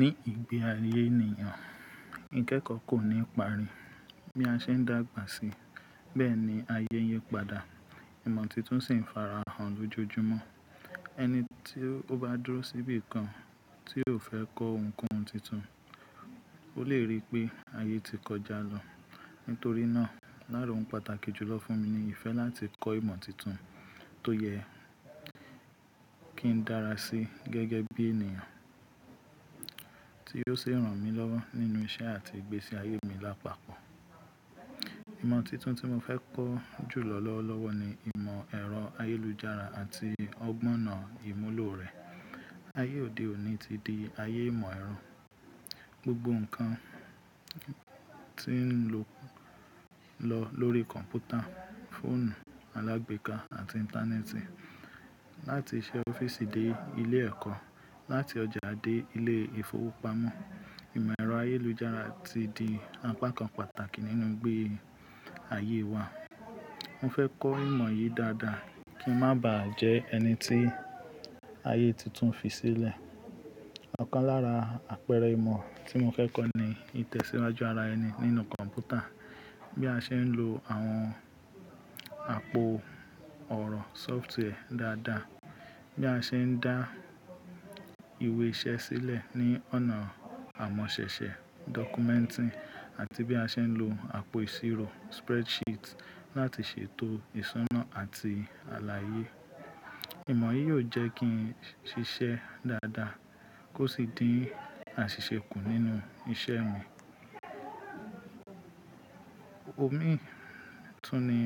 Ní ìgbé ayé ènìyàn, ìkẹ́kọ̀ọ́ kò ní ìpari. Bí a ṣe ń dàgbà sí, bẹ́ẹ̀ ni ayé n yi padà. Ìmọ̀ titun sì ń farahàn lójoojúmọ́. Ẹni tí ó bá dúró síbí kan tí ò fẹ́ kọ́ ohunkóhun titun, ó lè rí pé ayé ti kọjá lọ. Nítorí náà, lára ohun pàtàkì jùlọ fún mi ni ìfẹ́ láti kọ́ ìmọ̀ titun tó yẹ kí n darasi gẹ́gẹ́ bí ènìyàn tí yóò ṣi rànmílọ́wọ́ nínú iṣẹ́ àti ìgbésí ayé mi lápapọ̀. Ìmọ̀ titun tí mo fẹ́ kọ́ jùlọ lọ́wọ́lọ́wọ́ ni ìmọ̀ ẹ̀rọ ayélujára àti ọgbọ̀n ìmúlò rẹ̀. Ayé òde òní ti di ayé ìmọ̀ ẹ̀rọ. Gbogbo nǹkan ti ń lọ lórí kọ̀m̀pútà, fóònù alágbèéká àti íńtánẹ́ẹ̀tì. Láti isẹ́ ọ́fíìsì dé ilé ẹ̀kọ́, láti ọjà dé ilé ìfowópamọ́, ìmọ̀ ẹ̀rọ ayélujára ti di apá kan pàtàkì nínú igbé ayé wa. Mo fẹ́ kọ́ ìmọ̀ yìí dáadáa kí n má bàá jẹ́ ẹni tí ayé tuntun fi sílẹ̀. Ọ̀kan lára àpẹẹrẹ ìmọ̀ tí mo fẹ́ kọ́ ni ìtẹ̀síwájú ara ẹni nínú kọ̀m̀pútà. Bí a ṣe ń lo àwọn àpò ọ̀rọ̀ sọ́ftwarẹ̀ dáadáa, bí a ṣe ń dá ìwé iṣẹ́ sílẹ̀ ní ọ̀nà àmọ̀sẹ̀sẹ̀ dọ́kúmẹ́ǹtì àti bí a ṣe ń lo àpò ìṣirò spread sheet láti ṣètò ìṣúná àti àlàyé. Ìmọ̀ yìí yóò jẹ́ kí n ṣiṣẹ́ dáadáa kó sì dín àṣìṣe kù nínú ìṣe mi. Òmi tún ni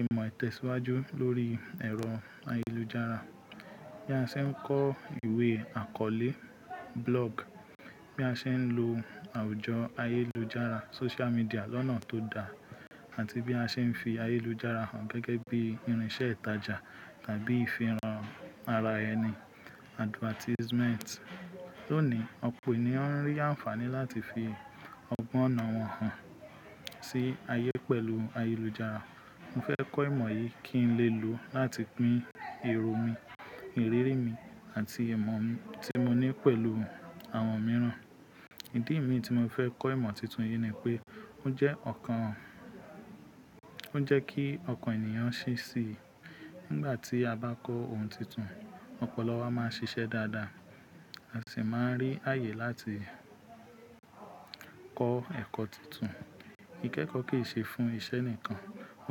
ìmọ̀ ìtẹ̀síwájú lórí ẹ̀rọ ayélujára. Bí a ṣe ń kọ ìwé àkọọlẹ́ blog, bí a ṣe ń lo àwùjọ ayélujára, social medíà lọ́nà tó dá àti bí a ṣe ń fi ayélujára hàn gẹ́gẹ́ bí irinṣẹ́ ìtajà tàbí ìfihàn ara ẹni advertisement. Lónìí, ọ̀pọ̀ ènìyàn ń rí ànfàní láti fi ọgbọ́nà wọn hàn sí ayé pẹ̀lú ayélujára. Mo fẹ́ kọ́ ìmọ̀ yìí kí n lè lò ó láti pín èrò mi, ìrírí mi àti ìmọ̀ tí mo ní pẹ̀lú àwọn mìíràn. Ìdí mi tí mo fẹ́ kọ́ ìmọ̀ titun yìí ni pé ó jẹ́ ọ̀kan, ó jẹ́ kí ọkàn ènìyàn ṣí ṣí. Nígbà tí a bá kọ́ ohun tuntun, ọpọlọ wa máa ń ṣiṣẹ́ dáadáa. A sì máa ń rí àyè láti kọ́ ẹ̀kọ́ tuntun. Ìkẹ́kọ̀ọ́ kì í ṣe fún isẹ́ nìkan,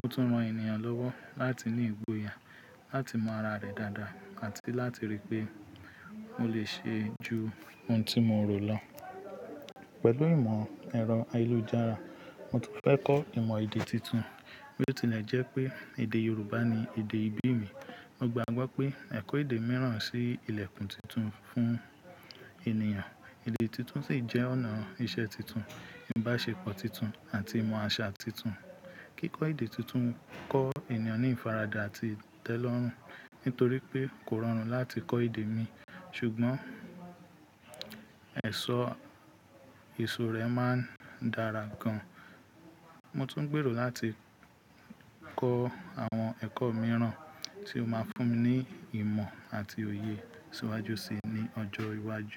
ó tún ran ènìyàn lọ́wọ́ láti ní ìgboyà láti mọ ara rẹ̀ dáadáa àti láti rí pé ó lè ṣe ju ohun tí morò lọ. Pẹ̀lú ìmọ̀ ẹ̀rọ ayélujára, mo tún fẹ́ kọ́ ìmọ̀ èdè tuntun. Bí ó tilẹ̀ jẹ́ pé èdè Yorùbá ni èdè ìbí mi, mo gbagbọ pé ẹ̀kọ́ èdè mìíràn sì ilẹ̀kùn tuntun fún ènìyàn. Èdè tuntun sì jẹ́ ọ̀nà iṣẹ́ titun, ìbáṣepọ̀ titun àti ìmọ̀ àṣà titun. Kíkọ́ èdè tuntun ń kọ́ ènìyàn ní ìfaradà àti ìtẹ́lọ́rùn. Nítorí pé kò rọrùn láti kọ́ èdè mi, ṣùgbọ́n ẹ̀ṣọ́ èso rẹ̀ máa ń dára gan. Mo tún ń gbèrò láti kọ́ àwọn ẹ̀kọ́ mìíràn tí ó máa fún mi ní ìmọ̀ àti òye ṣíwájú sí ní ọjọ́ iwájú.